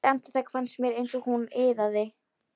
Eitt andartak fannst mér eins og hún iðaði.